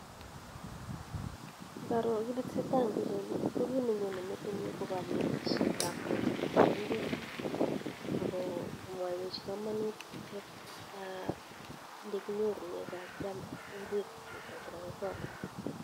Ngaroo kiiit nee tesetaii eng pichait nii kokiit nee nyonee ing metit nyuu kokanetishiet ab koleset ab ingweek akomwawech kamanutiet ab olekinyorenee kokakiam ingwek chutak chuu chekakikol